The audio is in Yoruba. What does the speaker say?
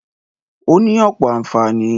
Ó ní ọ̀pọ̀ ànfàní.